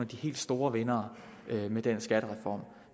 de helt store vindere med den skattereform